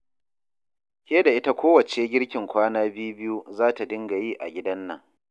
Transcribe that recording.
Ke da ita kowacce girkin kwana bi-biyu za ta dinga yi a gidan nan